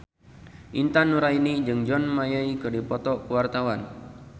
Intan Nuraini jeung John Mayer keur dipoto ku wartawan